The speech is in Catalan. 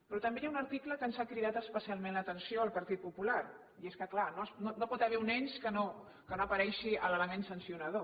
però també hi ha un article que ens ha cridat especialment l’atenció al partit popular i és que clar no hi pot haver un ens en què no aparegui l’element sancio nar